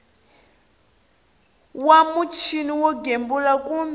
wa muchini wo gembula kumbe